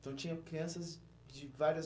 Então, tinha crianças de várias